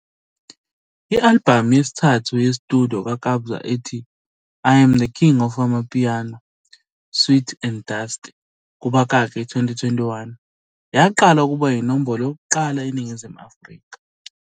I-albhamu yesithathu ye-studio kaKabza ethi- I Am the King of Amapiano - Sweet and Dust, kubakaki, 2021, yaqala ukuba yinombolo yokuqala eNingizimu Afrika.